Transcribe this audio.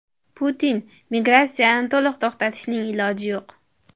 Putin: Migratsiyani to‘liq to‘xtatishning iloji yo‘q.